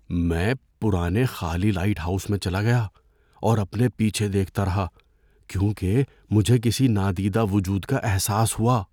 میں پرانے خالی لائٹ ہاؤس میں چلا گیا اور اپنے پیچھے دیکھتا رہا کیونکہ مجھے کسی نادیدہ وجود کا احساس ہوا۔